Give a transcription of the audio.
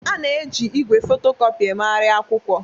A na-eji igwe fotocopi emegharị akwụkwọ